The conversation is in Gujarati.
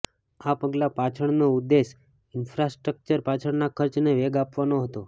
આ પગલા પાછળનો ઉદ્દેશ ઈન્ફ્રાસ્ટ્રક્ચર પાછળના ખર્ચને વેગ આપવાનો હતો